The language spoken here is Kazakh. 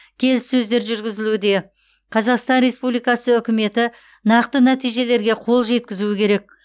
келіссөздер жүргізілуде қазақстан республикасы үкіметі нақты нәтижелерге қол жеткізуі керек